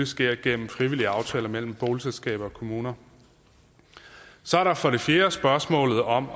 sker gennem frivillige aftaler mellem boligselskaber og kommuner så er der for det fjerde spørgsmålet om